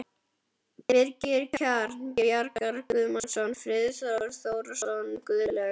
Birgir Kjaran, Bjartmar Guðmundsson, Friðjón Þórðarson, Guðlaugur